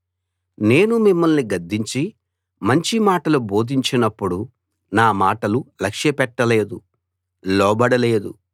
నేను మిమ్మల్ని గద్దించి మంచి మాటలు బోధించినప్పుడు నా మాటలు లక్ష్యపెట్టలేదు లోబడలేదు